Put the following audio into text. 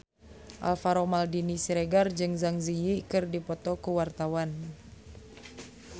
Alvaro Maldini Siregar jeung Zang Zi Yi keur dipoto ku wartawan